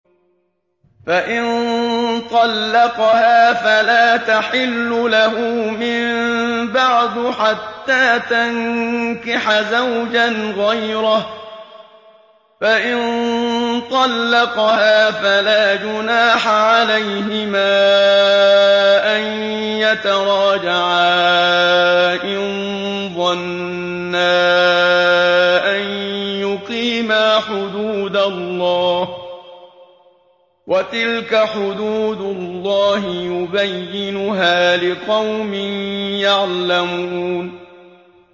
فَإِن طَلَّقَهَا فَلَا تَحِلُّ لَهُ مِن بَعْدُ حَتَّىٰ تَنكِحَ زَوْجًا غَيْرَهُ ۗ فَإِن طَلَّقَهَا فَلَا جُنَاحَ عَلَيْهِمَا أَن يَتَرَاجَعَا إِن ظَنَّا أَن يُقِيمَا حُدُودَ اللَّهِ ۗ وَتِلْكَ حُدُودُ اللَّهِ يُبَيِّنُهَا لِقَوْمٍ يَعْلَمُونَ